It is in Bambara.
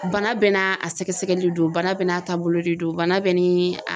Bana bɛɛ n'a a sɛgɛsɛgɛli don bana bɛɛ n'a taabolo de don bana bɛɛ ni a